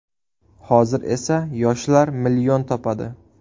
Hozir esa yoshlar million topadi.